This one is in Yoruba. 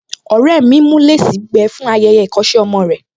Ọ̀rẹ́ mi ń mú léèsì gbígbẹ fún ayẹyẹ ìkọ́ṣẹ́ ọmọ rẹ̀